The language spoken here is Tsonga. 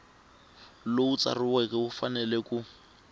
lowu tsariweke wu fanele ku